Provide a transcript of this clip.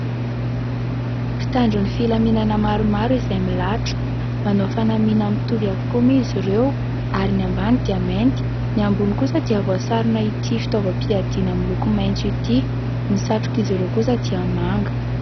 Mpitandro ny filaminana maromaro izay milaratra, manao fanamina mitovy avokoa izy ireo ary ny ambany dia mainty ny ambony kosa dia voasarona ity fitaovam-piadiana miloko maintso ity, ny satroka izy ireo kosa dia manga.